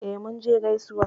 E, Munje gaisuwa.